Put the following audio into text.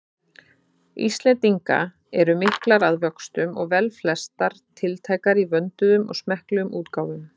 Íslendinga eru miklar að vöxtum og velflestar tiltækar í vönduðum og smekklegum útgáfum.